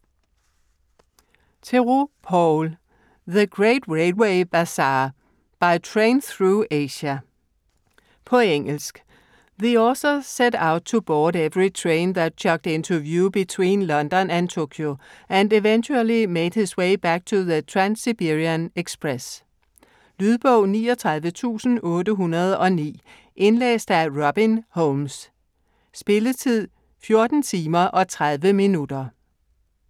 Theroux, Paul: The great railway bazaar: by train through Asia På engelsk. The author set out to board every train that chugged into view between London and Tokyo, and eventually made his way back on the Trans-Siberian Express. Lydbog 39809 Indlæst af Robin Holmes Spilletid: 14 timer, 30 minutter.